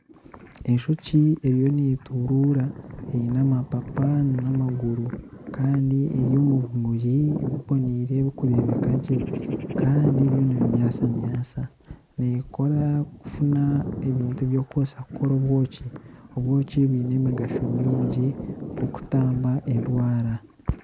Enjoki eriyo neeturura eine amapapa n'amaguru kandi eri omu bimuri biboneire birikureebeka gye kandi byo nibimyasamyasa neekora kufuna ebintu byokukoresa kukora obwoki, obwoki bwine emigasho mingi nk'okutamba endwara